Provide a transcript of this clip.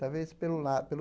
Talvez pelo lá pelo